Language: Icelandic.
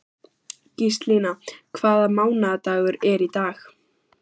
Gíslína, hvaða mánaðardagur er í dag?